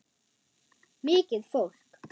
Mikið fólk.